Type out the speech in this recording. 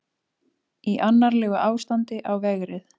Í annarlegu ástandi á vegrið